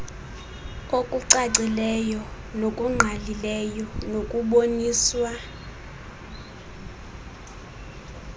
okucacileyo nokungqalileyo nokuboniswa